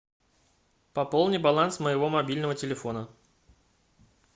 пополни баланс моего мобильного телефона